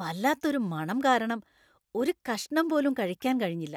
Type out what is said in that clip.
വല്ലാത്ത ഒരു മണം കാരണം ഒരു കഷ്ണം പോലും കഴിക്കാൻ കഴിഞ്ഞില്ല.